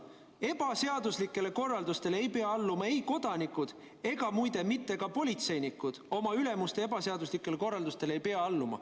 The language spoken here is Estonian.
Ebaseaduslikele korraldustele ei pea alluma kodanikud ja muide, ka politseinikud ei pea oma ülemuste ebaseaduslikele korraldustele alluma.